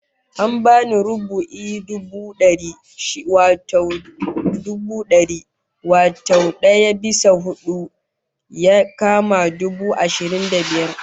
An bani rubu'in dubu dari, shine kwatan dubu dari, wato daya bisa hudu, ya kama dubu ashirin da biyar